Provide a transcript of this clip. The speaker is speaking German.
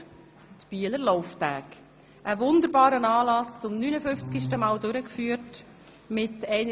Weiter fanden die Bieler Lauftage statt, ein wunderbarer Anlass, der zum 59. Mal durchgeführt wurde.